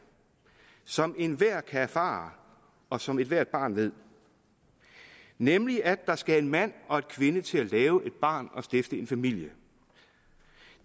som enhver kan erfare og som ethvert barn ved nemlig at der skal en mand og en kvinde til at lave et barn og stifte en familie